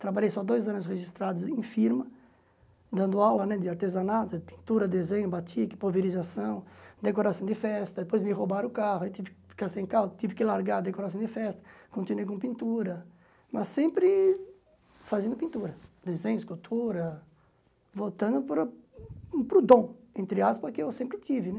Trabalhei só dois anos registrado em firma, dando aula né de artesanato, pintura, desenho, batique, pulverização, decoração de festa, depois me roubaram o carro, aí tive que ficar sem carro, tive que largar a decoração de festa, continuei com pintura, mas sempre fazendo pintura, desenho, escultura, voltando para o para o dom, entre aspas, que eu sempre tive, né?